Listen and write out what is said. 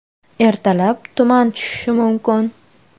Ertalab tuman tushishi mumkin.